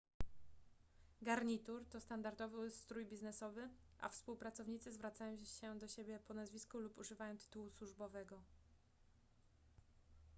garnitur to standardowy strój biznesowy a współpracownicy zwracają się do siebie po nazwisku lub używają tytułu służbowego